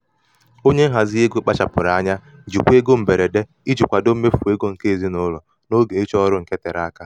onye mgbakọ ego ndị ụlọ ọrụ matara azụmahịa ego pụrụ iche n'ozi mmefụ ego nke ceo.